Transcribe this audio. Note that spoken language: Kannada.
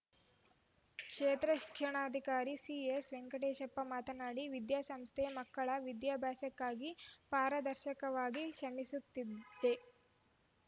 ಕ್ಷೇತ್ರ ಶಿಕ್ಷಣಾಧಿಕಾರಿ ಸಿಎಸ್‌ವೆಂಕಟೇಶಪ್ಪ ಮಾತನಾಡಿ ವಿದ್ಯಾಸಂಸ್ಥೆ ಮಕ್ಕಳ ವಿದ್ಯಾಭ್ಯಾಸಕ್ಕಾಗಿ ಪಾರದರ್ಶಕವಾಗಿ ಶ್ರಮಿಸುತ್ತಿದೆ